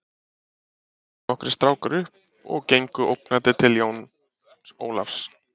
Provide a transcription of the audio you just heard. Síðan stóðu nokkrir strákar upp og gengu ógnandi til Jóns Ólafs.